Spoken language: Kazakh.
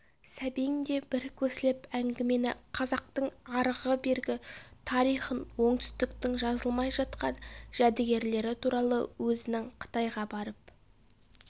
сәбең де бір көсіліп әңгімені қазақтың арғы-бергі тарихын оңтүстіктің жазылмай жатқан жәдігерлері туралы өзінің қытайға барып